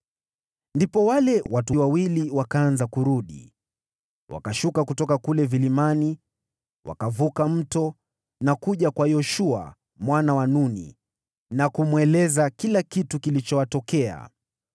Ndipo wale watu wawili wakaanza kurudi. Wakashuka kutoka kule vilimani, wakavuka mto na kuja kwa Yoshua mwana wa Nuni, na kumweleza kila kitu kilichowapata.